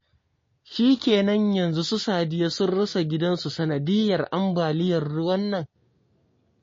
Shikenan yanzu su Sadiya sun rasa gidansu sanadiyyar ambaliyar ruwa nan?